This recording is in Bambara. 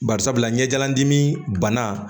Bari sabula ɲɛjandimi bana